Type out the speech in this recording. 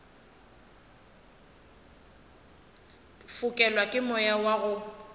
fokelwa ke moya wa go